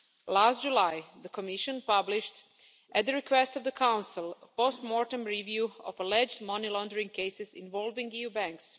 Last July, the Commission published, at the request of the Council, a post-mortem review of alleged money-laundering cases involving EU banks.